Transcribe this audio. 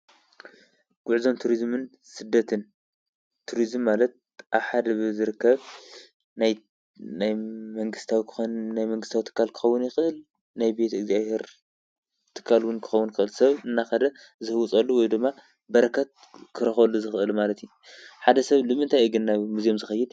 ጕዕዞን ቱርዝምን ስደትን፣ ቱርዝም ማለት ኣብ ሓደ ዝርከብ ናይ መንግሥታዊ ክኾን ናይ መንግሥታዊ ትካል ክኸውን ይኽህል ናይ ቤት እግዚኣብሔር ትካልውን ክኸውን ይክእል፣ ሰብ እናኸደ ዝህውፀሉ ወይ ዶማ በረከት ክረኸበሉ ዝኽእሊ ማለት እዩ። ሓደ ሰብ ልምንታይ እየ ግን ናብ ሙዝዮም ዝኸይድ ዝክእል?